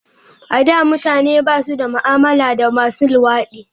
A da, mutane ba su da ma'amala da masu luwadi.